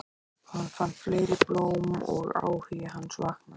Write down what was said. Hún fann fleiri blóm og áhugi hans vaknaði.